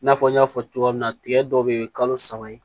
I n'a fɔ n y'a fɔ cogoya min na tigɛ dɔw bɛ yen kalo saba ye